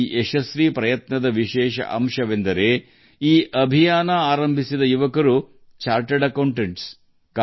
ಈ ಯಶಸ್ವಿ ಪ್ರಯತ್ನದ ಪ್ರಮುಖ ಅಂಶವೆಂದರೆ ಅಭಿಯಾನವನ್ನು ಪ್ರಾರಂಭಿಸಿದ ಯುವಕರು ಚಾರ್ಟರ್ಡ್ ಅಕೌಂಟೆಂಟ್ ಗಳು